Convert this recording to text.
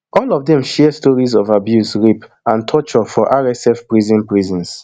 all of dem share stories of abuse rape and torture for rsf prisons prisons